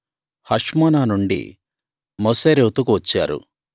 Hashmonah నుండి మొసేరోతుకు వచ్చారు